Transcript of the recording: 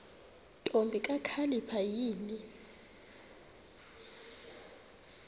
ntombi kakhalipha yini